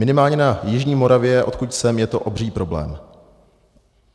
Minimálně na jižní Moravě, odkud jsem, je to obří problém.